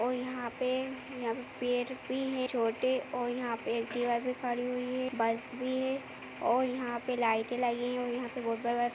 औ यहाँ पे वो पेर् बी हे छोटे औ यहाँ पे बी खड़ी हुई है बस भी है औ यहाँ पे लाईटें लगी हैं। यहाँ पे --